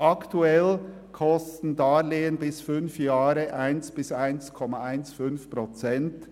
Aktuell kosten Darlehen bis zu fünf Jahren 1,0 bis 1,15 Prozent.